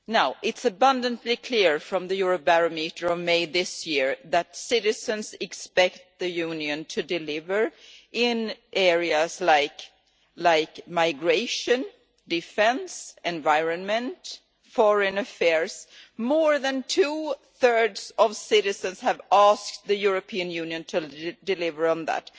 It is abundantly clear from the Eurobarometer of May this year that citizens expect the Union to deliver in areas like migration, defence, the environment and foreign affairs more than two-thirds of citizens have asked the European Union to deliver on that.